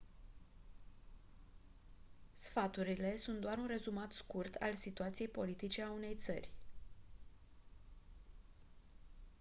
sfaturile sunt doar un rezumat scurt al situației politice a unei țări